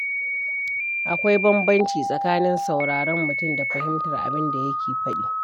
Akwai bambanci tsakanin sauraron mutum da fahimtar abin da yake faɗi.